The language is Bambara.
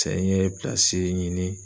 Cɛ n ye pilasi ɲini